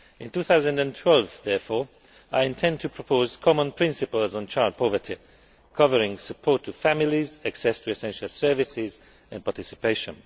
In 2012, therefore, I intend to propose common principles on child poverty covering support for families, access to essential services and participation.